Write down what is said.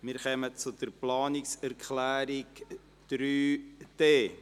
Wir kommen zu Planungserklärung 3.d.